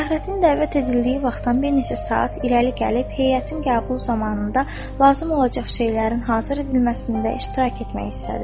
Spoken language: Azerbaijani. Fəxrəddin dəvət edildiyi vaxtdan bir neçə saat irəli gəlib, heyətin qəbulu zamanında lazım olacaq şeylərin hazır edilməsində iştirak etmək istədi.